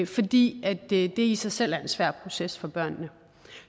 fordi det i sig selv er en svær proces for børnene